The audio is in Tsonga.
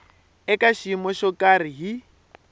eka xiyimo xo karhi hi